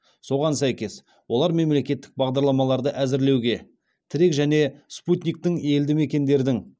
соған сәйкес олар мемлекеттік бағдарламаларды әзірлеуге тірек және спутниктің елді мекендердің